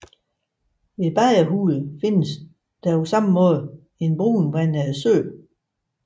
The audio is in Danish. Ved Bagerhule findes ligeledes en brunvandet sø